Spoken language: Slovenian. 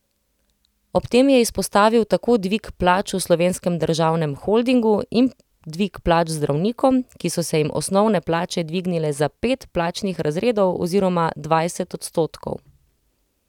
Ob tem je izpostavil tako dvig plač v Slovenskem državnem holdingu in dvig plač zdravnikom, ki so se jim osnovne plače dvignile za pet plačnih razredov oziroma dvajset odstotkov.